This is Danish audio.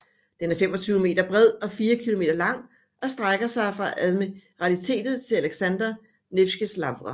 Den er 25 meter bred og fire kilometer lang og strækker sig fra admiralitetet til Aleksandr Nevskij Lavra